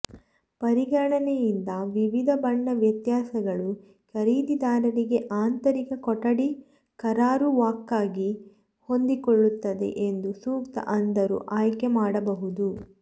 ಪರಿಗಣನೆಯಿಂದ ವಿವಿಧ ಬಣ್ಣ ವ್ಯತ್ಯಾಸಗಳು ಖರೀದಿದಾರರಿಗೆ ಆಂತರಿಕ ಕೊಠಡಿ ಕರಾರುವಾಕ್ಕಾಗಿ ಹೊಂದಿಕೊಳ್ಳುತ್ತದೆ ಎಂದು ಸೂಕ್ತ ಅಂಧರು ಆಯ್ಕೆ ಮಾಡಬಹುದು